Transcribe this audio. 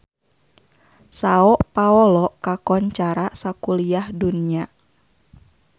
Sao Paolo kakoncara sakuliah dunya